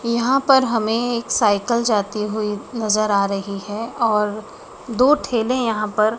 यहां पर हमे एक साइकल जाती हुई नजर आ रही है और दो ठेले यहां पर--